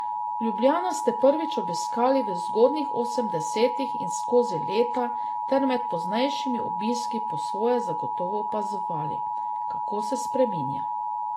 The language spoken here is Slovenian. Ljubljano ste prvič obiskali v zgodnjih osemdesetih in skozi leta ter med poznejšimi obiski po svoje zagotovo opazovali, kako se spreminja.